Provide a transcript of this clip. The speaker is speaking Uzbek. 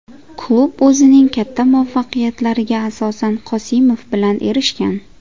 Klub o‘zining katta muvaffaqiyatlariga asosan Qosimov bilan erishgan.